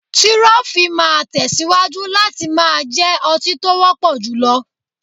Tirọfi máa tẹ̀síwájú láti máa jẹ́ ọtí tó wọ́pọ̀ jùlọ.